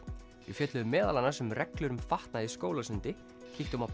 við fjölluðum meðal annars um reglur um fatnað í skólasundi kíktum á